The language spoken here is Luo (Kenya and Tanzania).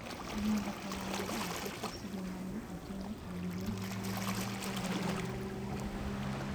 manyalo konya mondo aket osigo mane ating'o e wiya mar paro jooda